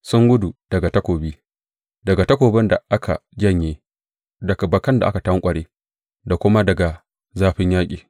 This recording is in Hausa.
Sun gudu daga takobi, daga takobin da aka janye, daga bakan da aka tanƙware da kuma daga zafin yaƙi.